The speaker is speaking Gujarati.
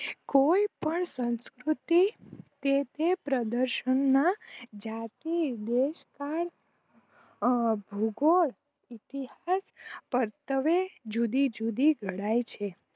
કોઈ પણ સંસ્કૃર્તિ તે તે પ્રદર્શન માં જાતે બેકાળ ભૂગોળ હકીકત પરત્વે જુદી જુદી ઘડાઈ છે